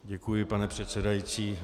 Děkuji, pane předsedající.